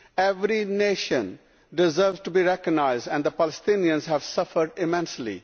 Every nation deserves to be recognised, and the Palestinians have suffered immensely.